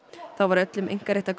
þá var öllum